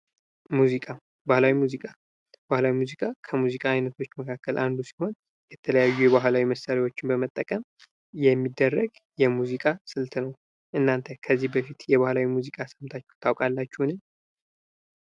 ሙዚቃ ፦ ባህላዊ ሙዚቃ ፦ ባህላዊ ሙዚቃ ከሙዚቃ አይነቶች መካከል አንዱ ሲሆን የተለያዩ የባህላዊ መሳሪያዎችን በመጠቀም የሚደረግ የሙዚቃ ስልት ነው ። እናንተ ከዚህ በፊት የባህላዊ ሙዚቃ ሰምታችሁ ታውቃላችሁን ?